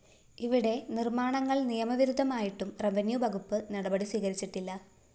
ഇവിടെ നിര്‍മ്മാണങ്ങള്‍ നിയമവിരുദ്ധമായിട്ടും റെവന്യൂ വകുപ്പ് നടപടി സ്വീകരിച്ചിട്ടില്ല